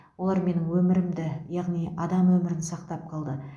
олар менің өмірімді яғни адам өмірін сақтап қалды